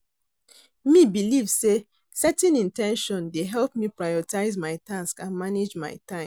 Me believe say setting in ten tion dey help me prioritize my tasks and manage my time.